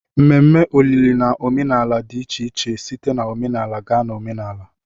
Mmeme olili na omenala dị iche iche site na omenala gaa na omenala